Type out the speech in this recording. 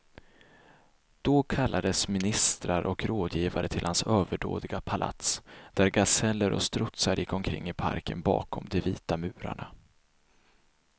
Då kallades ministrar och rådgivare till hans överdådiga palats, där gaseller och strutsar gick omkring i parken bakom de vita murarna.